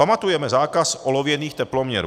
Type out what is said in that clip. Pamatujeme zákaz olověných teploměrů.